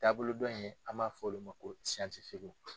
Taabolo dɔ in an b'a fɔ olu ma ko